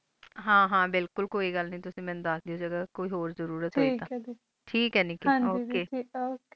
ਹਨ ਹਨ ਬਿਲਕੁਲ ਕੋਈ ਗਲ ਨਾਈ ਤੁਸੀਂ ਮੀਨੁ ਦਸ ਦਿਉ ਜਾਦੂ ਕੋਈ ਹੋਰ ਜ਼ਰੋਰਤ ਹੋਈ ਤਾਂ ਠੇਆਕ ਹੈ ਨਿੱਕੀ ਹਨ ਜੀ ਗ okay